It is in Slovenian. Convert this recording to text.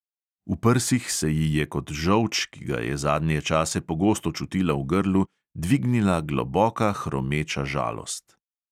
V prsih se ji je kot žolč, ki ga je zadnje čase pogosto čutila v grlu, dvignila globoka hromeča žalost.